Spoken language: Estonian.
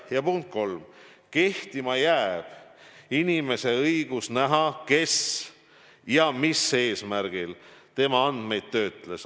Ja punkt 3: kehtima jääb inimese õigus näha, kes ja mis eesmärgil tema andmeid kasutas.